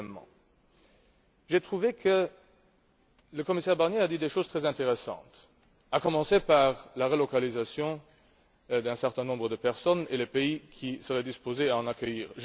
Deuxièmement, j'ai trouvé que le commissaire Barnier a dit des choses très intéressantes, à commencer par la relocalisation d'un certain nombre de personnes et les pays qui seraient disposés à les accueillir.